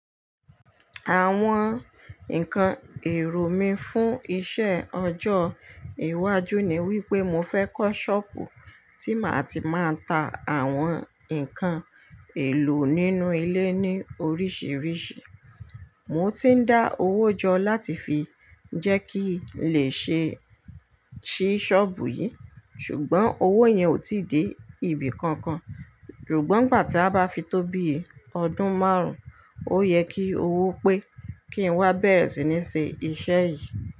Àwọn nǹkan èrò mí fún iṣẹ́ ọjọ́ iwájú ni wípé mo fẹ́ kọ́ ṣọ́ọ̀bù tí màá ti máa ń ta àwọn ǹkan èlò nínú ilé ní oríṣiríṣi. Mo ti ń dá owó jọ láti fi jẹ́ kí lè ṣe ṣí ṣọ́ọ̀bù yìí, ṣùgbọ́n owó yẹn ò tí ì dé ibìkankan. Ṣùgbọ́n ìgbà tí a bá fi tó bíi ọdún márùn-ún, ó yẹ kí owó pé kí n wá bẹ̀rẹ̀ sí ní se iṣẹ́ yìí.